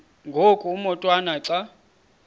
ngoku umotwana xa